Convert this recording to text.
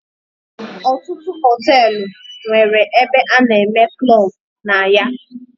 Ọtụtụ hotelu nwere ebe ana eme klub na ya.